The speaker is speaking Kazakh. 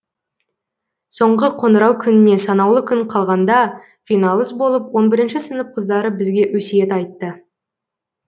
соңғы қоңырау күніне санаулы күн қалған да жиналыс болып он бірінші сынып қыздары бізге өсиет айтты